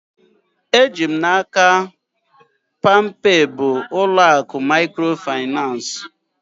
Eji m n'aka, palmpay bụ ụlọ akụ mikrofinansi